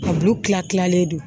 A bulu kila kilalen don